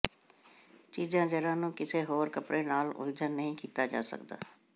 ਚੀਜ਼ਾਂ ਜ਼ਰਾ ਨੂੰ ਕਿਸੇ ਹੋਰ ਕੱਪੜੇ ਨਾਲ ਉਲਝਣ ਨਹੀਂ ਕੀਤਾ ਜਾ ਸਕਦਾ